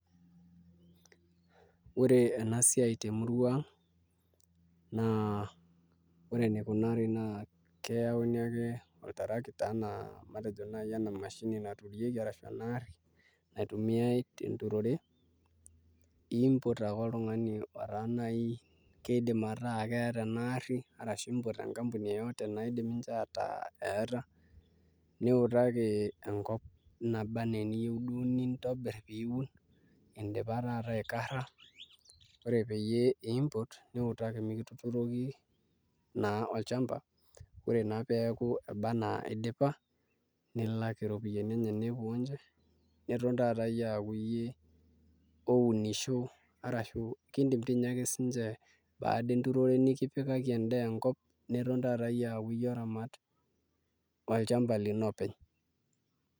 Ore ena siai temurua ang' naa ore enikunari naa keyauni ake oltarakita ashu ena mashini naturieki naitumiai tenturore niimpot ake oltung'ani otaa naai kiidim ataa keeta ena arri ashu impot enkampuni naidim ataa eeta, niutaki enkop naba enaa eniyieu duo nintobirr pee iun indipa taata aikarra ore peyie impot niutaki mikituturoki naa olchamba ore naa pee eeku eba enaa idipa nilak iropiyiani enye nepuo ninche nitum taata iyie aaku iyie ounisho arashu kiindim toi ninye ake siinche baada enturore nikipikaki endaa enkop niton taata iyie aaku iyie oramat olchamba lino openy'.